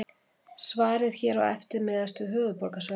Svarið hér á eftir miðast við höfuðborgarsvæðið.